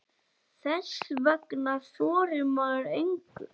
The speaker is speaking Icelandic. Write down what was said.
Þess vegna þorir maður engu.